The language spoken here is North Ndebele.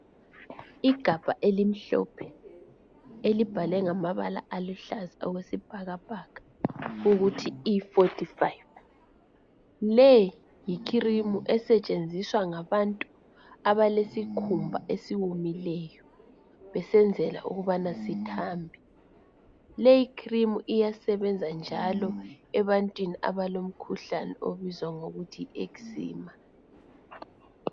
Igabha elimhlophe, elibhalwe ngamabala aluhlaza okwesibhakabhaka ukuthi E45. Le yikhirimu esetshenziswa ngabantu abalesikhumba esiwomileyo besenzela ukubana sithambe. Lekhirimu iyasebenza njalo ebantwini abalomkhuhlane obizwa ngokuthi yi ekzima.